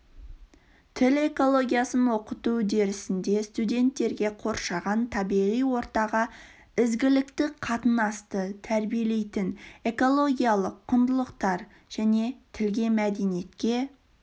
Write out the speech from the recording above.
тіл экологиясын оқыту үдерісінде студенттерге қоршаған табиғи ортаға ізгілікті қатынасты тәрбиелейтін экологиялық құндылықтар және тілге мәдениетке